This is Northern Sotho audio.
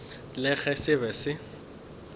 le ge se be se